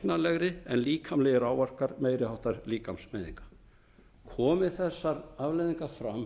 læknanlegar en líkamlegir áverkar meiri háttar líkamsmeiðinga komi þessar andlegu afleiðingar fram